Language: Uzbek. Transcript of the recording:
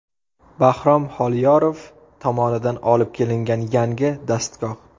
Bahrom Xoliyorov tomonidan olib kelingan yangi dastgoh.